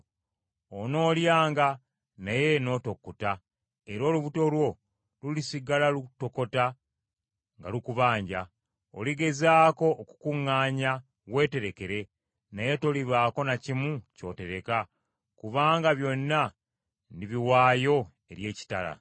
Onoolyanga, naye n’otokutta, era olubuto lwo lulisigala lutokota nga lukubanja. Oligezaako okukuŋŋaanya, weeterekere, naye tolibaako na kimu ky’otereka kubanga byonna ndibiwaayo eri ekitala.